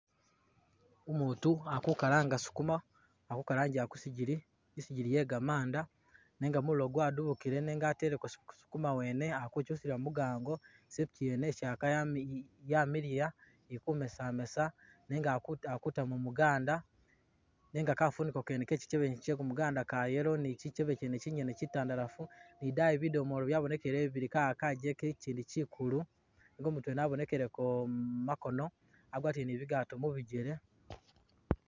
Umuutu ali ku galanga sukuma, ali ku galangila kusingili, i'singili yegamanda nenga mulilo gwadubukile nenga ateleko sukama wene ali guchusila mugango isepichi yene i'chaka yami yamiliya ili kumesa kumesa nenga ali kutamo muganda nenga kafuniko kene kechikebe che kumuganda ka yellow ne chikebe chene chinyene chitandalafu ni daayi bidomoolo byabonekeleyo bubili galala gacheke ichindi chikulu nenga umuutu wene wabonekele ko mumakono, agwatile ni bigaato mubigele